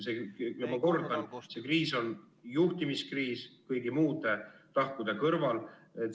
Ma kordan: see kriis on juhtimiskriis kõigi muude tahkude kõrval.